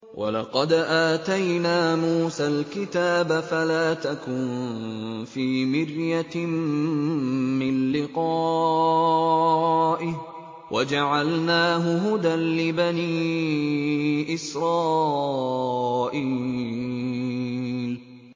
وَلَقَدْ آتَيْنَا مُوسَى الْكِتَابَ فَلَا تَكُن فِي مِرْيَةٍ مِّن لِّقَائِهِ ۖ وَجَعَلْنَاهُ هُدًى لِّبَنِي إِسْرَائِيلَ